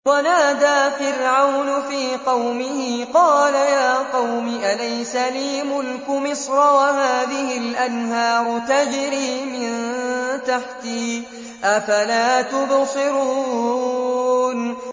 وَنَادَىٰ فِرْعَوْنُ فِي قَوْمِهِ قَالَ يَا قَوْمِ أَلَيْسَ لِي مُلْكُ مِصْرَ وَهَٰذِهِ الْأَنْهَارُ تَجْرِي مِن تَحْتِي ۖ أَفَلَا تُبْصِرُونَ